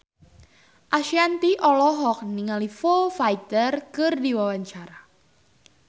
Ashanti olohok ningali Foo Fighter keur diwawancara